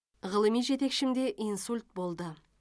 ғылыми жетекшімде инсульт болды